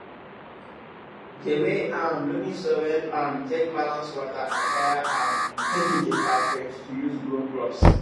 di way um loamy soil um take balance water and air um make e dey perfect to use grow crops